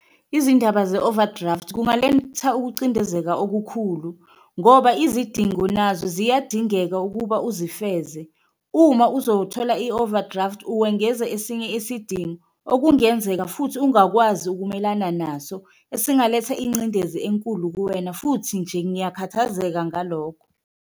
Izindaba ze-overdraft kungaletha ukucindezeka okukhulu ngoba izidingo nazo ziyadingeka ukuba uzifeze uma uzothola i-overdraft uwengeza esinye isidingo, okungenzeka futhi ungakwazi ukumelana naso. Esingalenza ingcindezi enkulu kuwena futhi nje ngiyakhathazeka ngalokho.